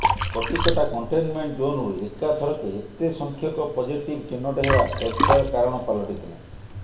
Katikata containment ଜୋନରୁ ଏକାଥରକେ ଏତେସଂଖ୍ୟକ ପଜିଟିଭ୍ ଚିହ୍ନଟ ହେବା ଚର୍ଚ୍ଚାର କାରଣ ପାଲଟିଥିଲା